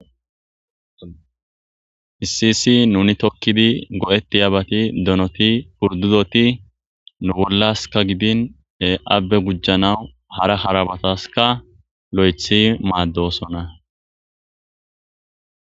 Issisi nuni tokkidi go'etti aabati donoti purdudoti nu bollaska gidine abbe gujjanawu hara harabataska lo'ethi maaddosona.